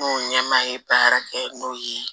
N ko ɲɛmaa ye baara kɛ n'o ye